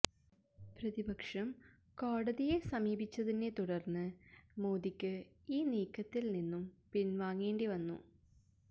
പ്രതിപക്ഷം കോടതിയെ സമീപിച്ചതിനെ തുടര്ന്ന് മോദിക്ക് ഈ നീക്കത്തില് നിന്നും പിന്വാങ്ങേണ്ടിവന്നു